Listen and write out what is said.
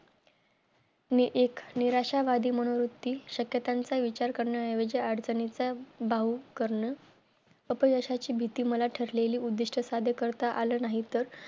मी एक निराशा वादि म्हणून वृती शक्यतांचा विचार करण्याएव्हजी अडचणीचं भावू करणं अपयशाची भीती मनात ठरलेली उद्दिष्ठे साध्य करता आली नाही तर